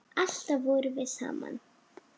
Alltaf vorum við saman.